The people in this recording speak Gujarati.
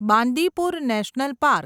Bandipur national park